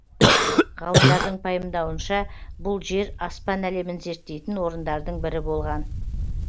ғалымдардың пайымдауынша бұл жер аспан әлемін зерттейтін орындардың бірі болған